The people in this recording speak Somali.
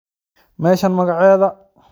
Meshan magacedha??